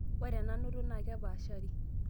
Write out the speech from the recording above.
ore enanoto naa kepaashari